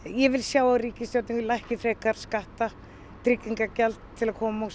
ég vil sjá ríkisstjórnina lækka frekar skatta tryggingagjald til að koma